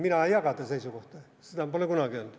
Mina ei jaga nende seisukohta, seda ma pole kunagi öelnud.